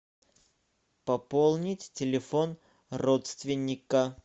пополнить телефон родственника